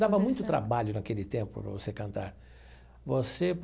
Dava muito trabalho naquele tempo para você cantar você.